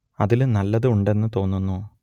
അതിൽ നല്ലത് ഉണ്ട് എന്ന് തോന്നുന്നു